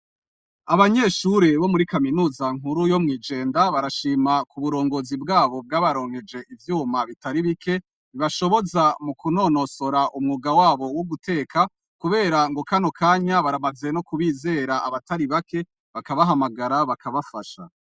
Abanyeshure bo muri Kaminuza nkuru yo Mwijenda, barashima kuburongozi bwabo bwabaronkeje ivyuma bitari bike, bibashoboza mukunonosora umwuga wabo wuguteka, kubera ngo Kano kanya, baramaze kubizera abatari bake, bakabahamagara bakabafasha.